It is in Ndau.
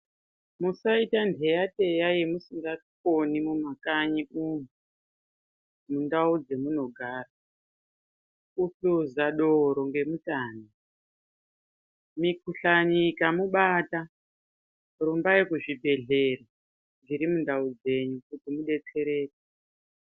Musaita mpeya peya yamusingakoni mumakanyi umu mundau dzamunogara kuhluza doro ngemutani mikhuhlani ikamubata rumbayi kuzvibhedhlera zviri mundau dzenyu kuti mudetsereke.